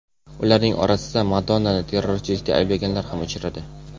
Ularning orasida Madonnani terrorchilikda ayblaganlar ham uchradi.